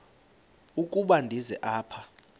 ukuba ndize apha